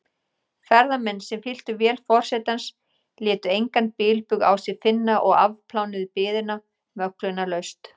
Ferðamenn, sem fylltu vél forsetans, létu engan bilbug á sér finna og afplánuðu biðina möglunarlaust.